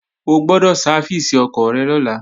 O gbọ́dọ̀ sáfìsì ọkọ̀ rẹ lọ́la!